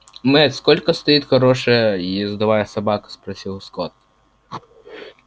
мэтт сколько стоит хорошая ездовая собака спросил скотт